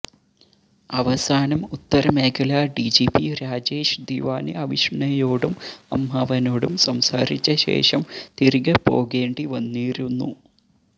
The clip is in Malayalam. അവസാനം ഉത്തരമേഖലാ ഡി ജി പി രാജേഷ് ദിവാന് അവിഷ്ണയോടും അമ്മാവനോടും സംസാരിച്ച ശേഷം തിരികെ പോകേണ്ടി വന്നിരുന്നു